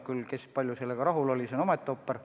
Kes kui palju sellega rahul on, on omaette ooper.